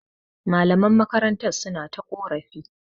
Malaman makarantar suna ta ƙorafi.